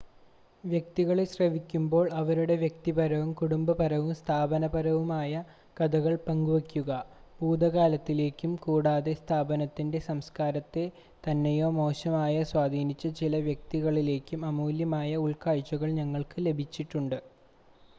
വ്യക്തികളെ ശ്രവിക്കുമ്പോൾ അവരുടെ വ്യക്തിപരവും കുടുംബപരവും സ്ഥാപനപരവുമായ കഥകൾ പങ്കുവയ്ക്കുക ഭൂതകാലത്തിലേക്കും കൂടാതെ സ്ഥാപനത്തിൻ്റെ സംസ്ക്കാരത്തെ നന്നായോ മോശമായോ സ്വാധീനിച്ച ചില വ്യക്തികളിലേക്കും അമൂല്യമായ ഉൾക്കാഴ്ചകൾ ഞങ്ങൾക്ക് ലഭിച്ചിട്ടുണ്ട്